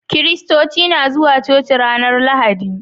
Kiristoci na zuwa coci ranar lahadi